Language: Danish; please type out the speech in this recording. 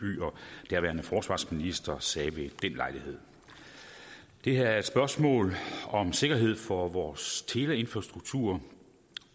og daværende forsvarsminister sagde ved den lejlighed det her er et spørgsmål om sikkerhed for vores teleinfrastruktur